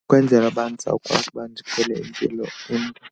Ukwenzela uba ndizawukwazi uba ndiphile impilo .